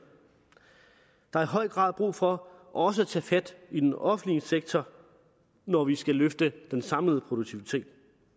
der er i høj grad brug for også at tage fat i den offentlige sektor når vi skal løfte den samlede produktivitet